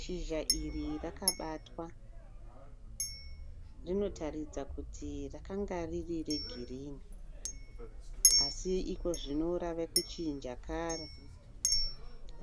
Shizha iri rakabatwa ,rinotaridza kuti rakanga riri regirini asi ikozvino rave kuchinja kara